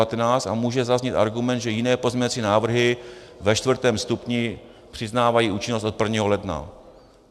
A může zaznít argument, že jiné pozměňovací návrhy ve čtvrtém stupni přiznávají účinnost od 1. ledna.